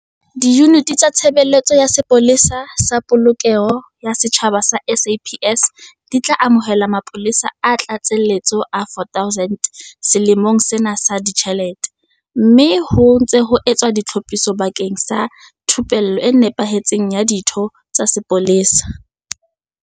Diyuniti tsa Tshebeletso ya Sepolesa sa Polokeho ya Setjhaba tsa SAPS di tla amohela mapolesa a tlatsetso a 4 000 selemong sena sa ditjhelete, mme ho ntse ho etswa ditlhophiso bakeng sa thupello e nepahetseng ya ditho tsa sepolesa.